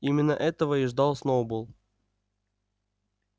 именно этого и ждал сноуболл